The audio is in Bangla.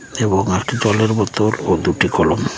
এবং জলের বোতল ও দুটি কলম ।